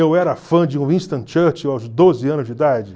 Eu era fã de Winston Churchill aos doze anos de idade?